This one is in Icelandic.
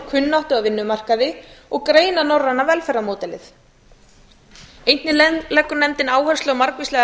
kunnáttu á vinnumarkaði og greina norræna velferðarmódelið einnig leggur nefndina áherslu á margvíslegar